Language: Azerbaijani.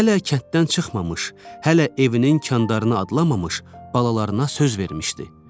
Hələ kənddən çıxmamış, hələ evinin kandarını adlamamış balalarına söz vermişdi.